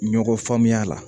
Ɲɔgɔn faamuya la